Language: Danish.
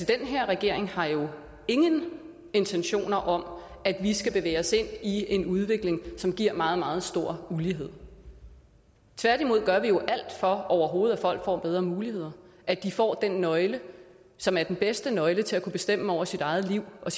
den her regering har jo ingen intentioner om at vi skal bevæge os ind i en udvikling som giver meget meget stor ulighed tværtimod gør vi jo alt for at folk overhovedet får bedre muligheder at de får den nøgle som er den bedste nøgle til at kunne bestemme over eget liv og